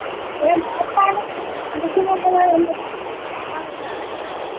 എനിക്കറിഞ്ഞുകൂടാ ഈ number number എനിക്ക് കാണാതെ അതായത് കാണാതെ ഒന്നും അറിഞ്ഞുകൂടെടാ.